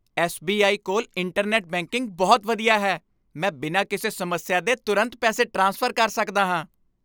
S. B. I. ਕੋਲ internet banking ਬਹੁਤ ਵਧੀਆ ਹੈ। ਮੈਂ ਬਿਨਾਂ ਕਿਸੇ ਸਮੱਸਿਆ ਦੇ ਤੁਰੰਤ ਪੈਸੇ ਟ੍ਰਾਂਸਫਰ ਕਰ ਸਕਦਾ ਹਾਂ।